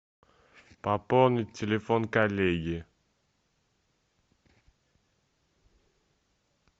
пополнить телефон коллеги